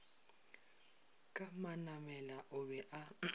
ka manamela o be a